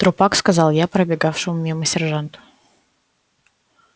трупак сказал я пробегавшему мимо сержанту